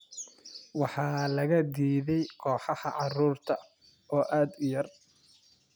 Waxaa laga diiday kooxaha carruurta oo aad u yar.